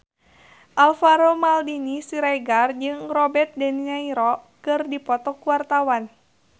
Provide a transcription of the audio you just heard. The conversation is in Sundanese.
Alvaro Maldini Siregar jeung Robert de Niro keur dipoto ku wartawan